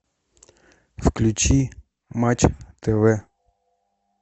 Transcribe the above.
включи матч тв